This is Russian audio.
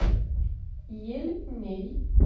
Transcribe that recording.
ельней